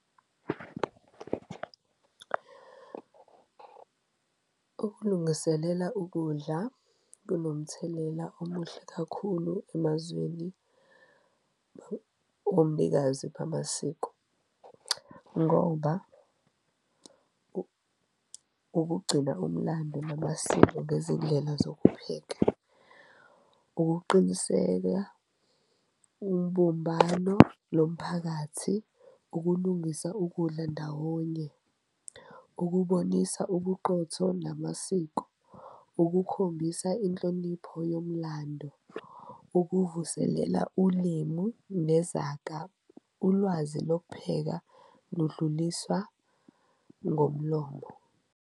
Ukulungiselela ukudla kunomthelela omuhle kakhulu emazweni omnikazi bamasiko ngoba ukugcina umlando namasiko ngezindlela zokupheka, ukuqiniseka umbumbano lomphakathi, ukulungisa ukudla ndawonye, ukubonisa ubuqotho namasiko. Ukukhombisa inhlonipho yomlando, ukuvuselela ulimu nezaga, ulwazi lokupheka ludluliswa ngomlomo.